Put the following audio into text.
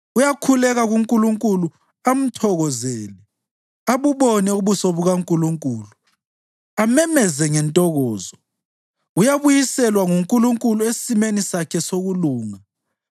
Uyakhuleka kuNkulunkulu amthokozele, abubone ubuso bukaNkulunkulu amemeze ngentokozo; uyabuyiselwa nguNkulunkulu esimeni sakhe sokulunga.